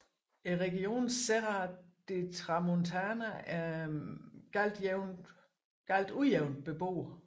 Regionen Serra de Tramuntana er meget ujævnt beboet